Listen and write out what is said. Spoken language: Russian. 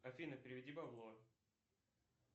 афина переведи бабло